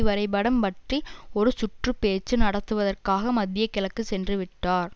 வரைபடம் பற்றி ஒரு சுற்று பேச்சு நடத்துவதற்காக மத்திய கிழக்கு சென்று விட்டார்